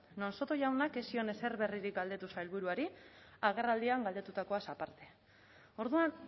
non soto jaunak ez zion ezer berririk galdetu sailburuari agerraldian galdetutakoaz aparte orduan